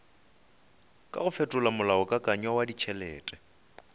kago fetola molaokakanywa wa ditšhelete